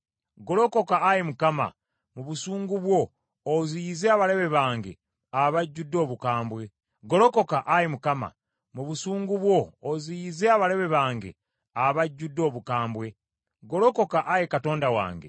Golokoka, Ayi Mukama , mu busungu bwo oziyize abalabe bange abajjudde obukambwe. Golokoka, Ayi Katonda wange, onnyambe ggwe asala omusango mu bwenkanya.